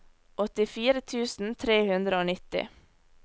åttifire tusen tre hundre og nitti